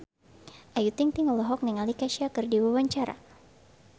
Ayu Ting-ting olohok ningali Kesha keur diwawancara